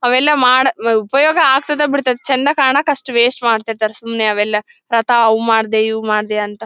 ಅವೆಲ್ಲ ಮಾಡ ಹ್ಮ್ ಉಪಯೋಗ ಆಗ್ತದ ಬಿಡ್ತದ ಚಂದ ಕಾಣಕ್ಕೆ ಅಷ್ಟು ವೇಸ್ಟ್ ಮಾಡ್ತಿರ್ತಾರೆ. ಸುಮ್ನೆ ಅವೆಲ್ಲ ತತಾ ಅವು ಮಾಡ್ದೆ ಇವು ಮಾಡ್ದೆ ಅಂತ.